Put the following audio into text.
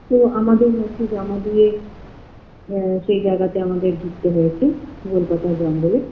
তো আমাদের নথি জমা দিয়ে এএ সে জায়গাতে আমাদের ঢুকতে হয়েছে গোল পাতার জঙ্গলে